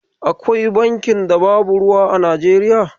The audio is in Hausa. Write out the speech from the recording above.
Akwai bankin da babu ruwa a Nijeriya?